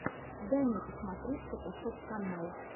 дай мне посмотреть фотошоп канал